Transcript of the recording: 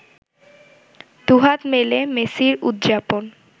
দুহাত মেলে মেসির উদযাপন